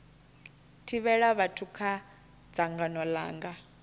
thivhela vhathu kha dzangano langa